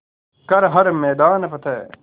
कर हर मैदान फ़तेह